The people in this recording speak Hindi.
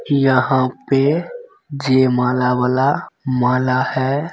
यहाँ पे जयमाला वाला माला है।